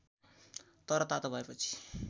तर तातो भएपछि